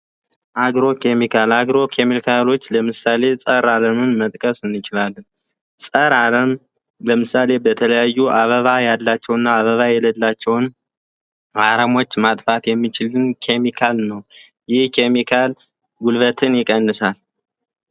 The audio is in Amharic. አግሮ ኬሚካል፡ አግሮ ኬሚካሎች ለምሳሌ ጸረ አረምን መጥቀስ እንችላለን። በተለያዩ አበባ ያላቸውና አበባ የሌላቸውን አረሞች ለማጥፋት የሚችል ኬሚካል ነው፤ ይህ ኬሚካል ጉልበትን ይቀንሳል።